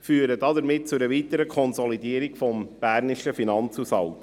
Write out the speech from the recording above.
Das führt zu einer weiteren Konsolidierung des Berner Finanzhaushalts.